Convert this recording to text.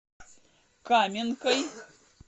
каменкой